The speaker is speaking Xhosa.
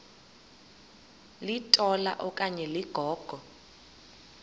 litola okanye ligogo